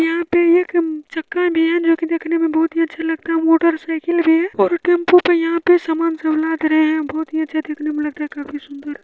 यहाँ पे ये म चक्का भी है जोके देखने मे बोहोत ही अच्छा लगता है मोटरसाइकिल भी है टेंपो पे यहा पे सामान लग रहे है बोहोत ही अच्छा देखने मे लग रहा है काफी सुंदर।